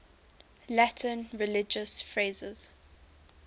latin religious phrases